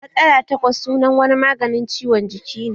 Matsala takwas sunan wani maganin ciwon jiki ne